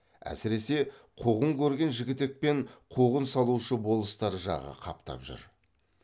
әсіресе қуғын көрген жігітек пен қуғын салушы болыстар жағы қаптап жүр